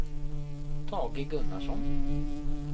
Tage Gunnarsson